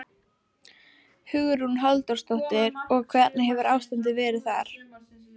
Hugrún Halldórsdóttir: Og hvernig hefur ástandið verið þar?